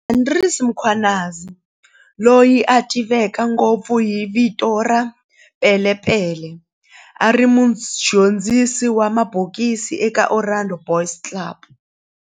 Andries Mkhwanazi, loyi a tiveka ngopfu hi vito ra"Pele Pele", a ri mudyondzisi wa mabokisi eka Orlando Boys Club